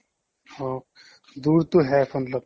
অ' dur টোহ হে matlab